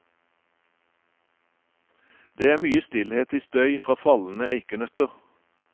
Det er mye stillhet i støy fra fallende eikenøtter.